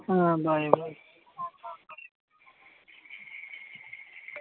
হ্যাঁ bye bye